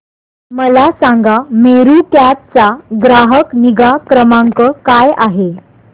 मला सांगा मेरू कॅब चा ग्राहक निगा क्रमांक काय आहे